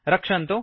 रक्षन्तु